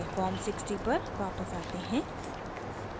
form 60 पर वापस आते हैं